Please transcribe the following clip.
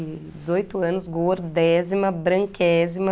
E dezoito anos, gordésima, branquésima...